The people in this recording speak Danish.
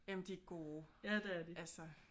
Jamen de er gode altså